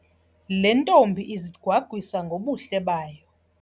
Le ntombi izigwagwisa ngobuhle bayo.